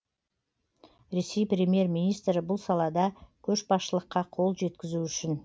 ресей премьер министрі бұл салада көшбасшылыққа қол жеткізу үшін